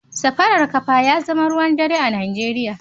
Safarar kafa ya zama ruwan dare a Najeriya